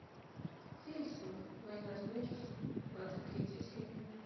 хеллсинг война с нечистью двадцать третья серия